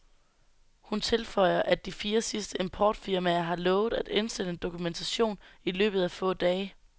Hun tilføjer, at de fire sidste importfirmaer har lovet at indsende dokumentation i løbet af få dage.